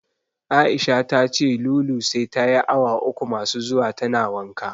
Aisha tace Lulu sai tayi awa uku masu zuwa tana wanka.